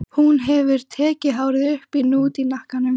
Hún hefur tekið hárið upp í hnút í hnakkanum.